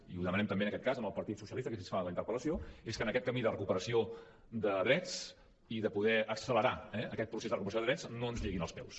i ho demanem també en aquest cas al partit socialista que és qui fa la interpel·lació és que en aquest camí de recuperació de drets i de poder accelerar aquest procés de recuperació de drets no ens lliguin els peus